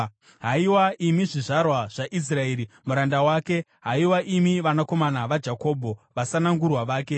Haiwa, imi zvizvarwa zvaIsraeri muranda wake, haiwa imi vanakomana vaJakobho vasanangurwa vake.